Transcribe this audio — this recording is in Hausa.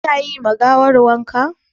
Ku na yi ma gawar wanka ne?